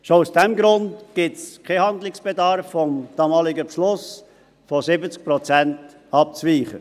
Schon aus diesem Grund gibt es keinen Handlungsbedarf, vom damaligen Beschluss von 70 Prozent abzuweichen.